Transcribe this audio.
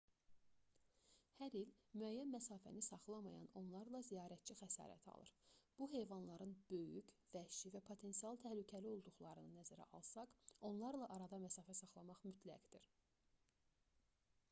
hər il müəyyən məsafəni saxlamayan onlarla ziyarətçi xəsarət alır bu heyvanların böyük vəhşi və potensial təhlükəli olduqlarını nəzərə alsaq onlarla arada məsafə saxlamaq mütləqdir